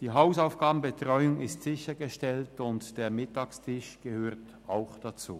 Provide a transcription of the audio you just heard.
Die Hausaufgabenbetreuung ist sichergestellt, und der Mittagstisch gehört auch dazu.